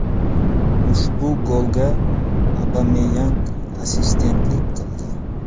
Ushbu golga Obameyang assistentlik qildi.